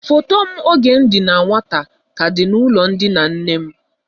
Foto m oge m dị na nwata ka dị n'ulo ndina nnem.